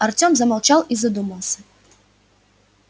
артем замолчал и задумался